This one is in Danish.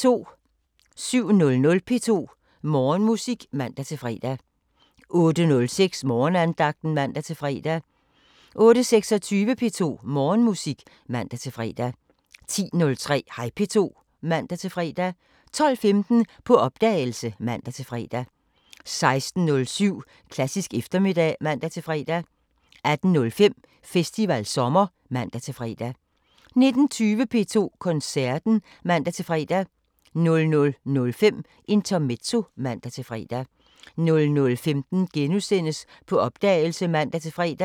07:06: P2 Morgenmusik (man-fre) 08:06: Morgenandagten (man-fre) 08:26: P2 Morgenmusik (man-fre) 10:03: Hej P2 (man-fre) 12:15: På opdagelse (man-fre) 16:07: Klassisk eftermiddag (man-fre) 18:05: Festivalsommer (man-fre) 19:20: P2 Koncerten (man-fre) 00:05: Intermezzo (man-fre) 00:15: På opdagelse *(man-fre)